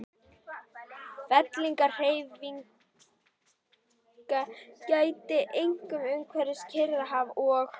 Fellingahreyfinga gætti einkum umhverfis Kyrrahaf og